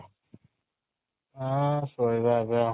ଆ ଶୋଇବା ଏବେ ଆଉ